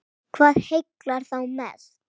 Hvað heillar þá mest?